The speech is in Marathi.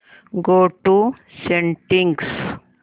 go to settings